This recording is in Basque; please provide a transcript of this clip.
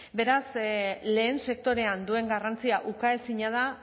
beraz lehen sektorean duen garrantzia ukaezina da